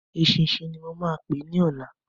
Eṣinṣin ni mo máa pè é ní ọ̀la.